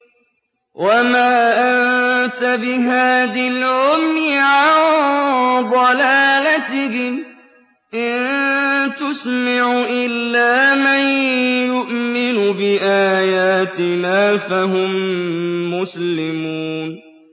وَمَا أَنتَ بِهَادِي الْعُمْيِ عَن ضَلَالَتِهِمْ ۖ إِن تُسْمِعُ إِلَّا مَن يُؤْمِنُ بِآيَاتِنَا فَهُم مُّسْلِمُونَ